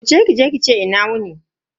Wuce kije ki ce "Ina wuni".